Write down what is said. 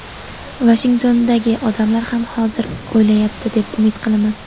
Vashingtondagi odamlar ham hozir o‘ylayapti, deb umid qilaman.